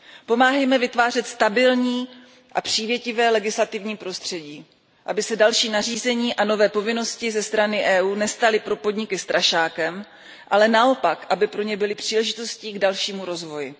Pomáhejme vytvářet stabilní a přívětivé legislativní prostředí, aby se další nařízení a nové povinnosti ze strany EU nestaly pro podniky strašákem, ale naopak aby pro ně byly příležitostí k dalšímu rozvoji.